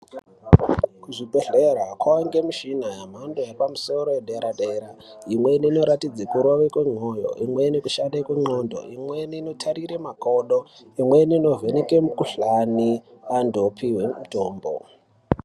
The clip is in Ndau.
Kuzvibhedhlera kwaane mishina yemhando yepamusoro yedera dera. Imweni inoratidze kurova kwemoyo. Imweni inoshande kundxondo. Imweni inotarire kumakodo. Imweni inovheneke mikhuhlani antu opuhwe mutombo.